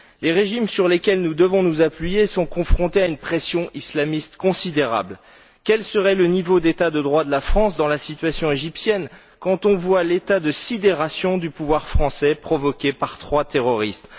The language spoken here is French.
Les régimes sur lesquels nous devons nous appuyer sont confrontés à une pression islamiste considérable. Quel serait le niveau d'état de droit de la France dans la situation égyptienne quand on voit l'état de sidération du pouvoir français provoqué par trois terroristes?